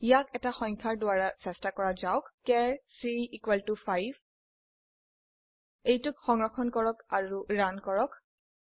ইয়াক এটি সংখ্যা দ্বাৰা চেষ্টা কৰা যাওক চাৰ c 5 এটি সংৰক্ষণ কৰক আৰু ৰান কৰো